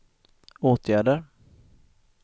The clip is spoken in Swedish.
åtgärder